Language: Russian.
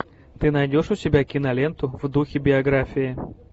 ты найдешь у себя киноленту в духе биографии